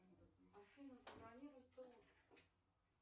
афина забронируй стол